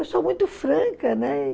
Eu sou muito franca, né?